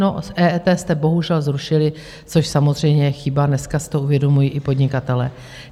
No, EET jste bohužel zrušili, což samozřejmě je chyba, dneska jste to uvědomují i podnikatelé.